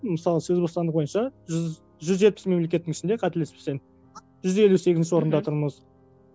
мысалы сөз бостандығы бойынша жүз жүз жетпіс мемлекеттің ішінде қателеспесем жүз елу сегізінші орында тұрмыз